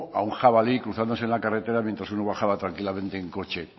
a un jabalí cruzándose la carretera mientras uno bajaba tranquilamente en coche